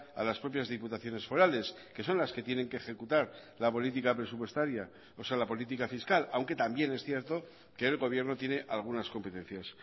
a las propias diputaciones forales que son las que tienen que ejecutar la política presupuestaria o sea la política fiscal aunque también es cierto que el gobierno tiene algunas competencias